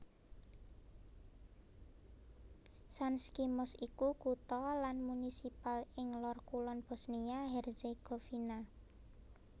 Sanski Most iku kutha lan munisipal ing lor kulon Bosnia Herzegovina